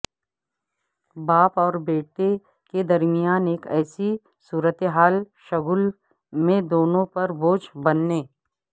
باپ اور بیٹے کے درمیان ایک ایسی صورتحال شگل میں دونوں پر بوجھ بننے